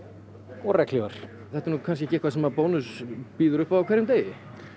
og regnhlífar þetta er nú kannski ekki eitthvað sem Bónus býður upp á á hverjum degi